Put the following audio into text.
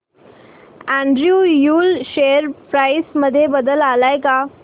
Andrew Yule share price मध्ये बदल आलाय का